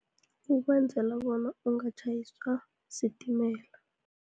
Ukwenzela bona ungatjhayiswa sitimela.